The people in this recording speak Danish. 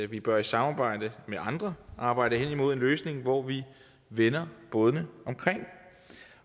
vi bør i samarbejde med andre arbejde hen imod en løsning hvor vi vender bådene omkring